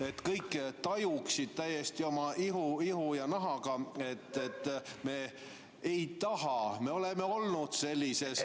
... et kõik tajuksid täiesti oma ihu ja nahaga, et me ei taha, me oleme olnud sellises ...